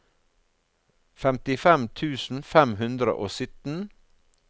femtifem tusen fem hundre og sytten